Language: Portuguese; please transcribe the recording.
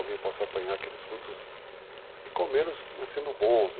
Alguém possa apanhar aqueles frutos e comê-los sendo bons, né.